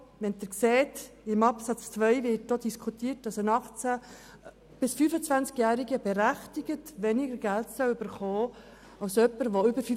Wie Sie sehen, steht in Absatz 2, dass 18- bis 25-Jährige berechtigterweise weniger Geld erhalten sollen als Personen, die älter als 25 Jahre sind.